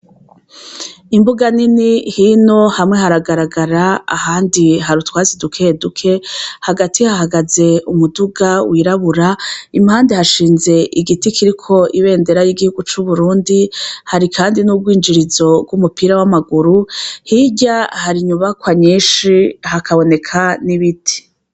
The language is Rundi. Imbuga nini, hino hamwe haragaragara ahandi hari utwatsi dukeduke, hagati hahagaze umuduga wirabura, impande hashinze igiti kiriko ibendera ry'igihugu c'Uburundi hari kandi n'urwinjirizo rw'umupira w'amaguru, hirya hari inyubakwa nyinshi hakaboneka n'ibiti.